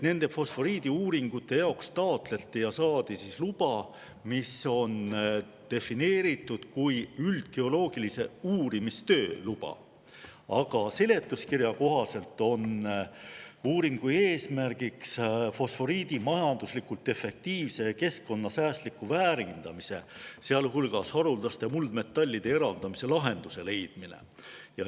Nende fosforiidiuuringute jaoks taotleti ja saadi luba, mis on defineeritud kui üldgeoloogilise uurimistöö luba, aga seletuskirja kohaselt on uuringu eesmärk fosforiidi majanduslikult efektiivse ja keskkonnasäästliku väärindamise, sealhulgas haruldaste muldmetallide eraldamise lahenduse leidmine.